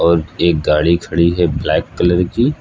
एक गाड़ी खड़ी है ब्लैक कलर की।